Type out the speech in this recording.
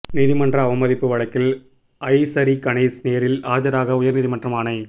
நீதிமன்ற அவமதிப்பு வழக்கில் ஐசரி கணேஷ் நேரில் ஆஜராக உயர்நீதிமன்றம் ஆணை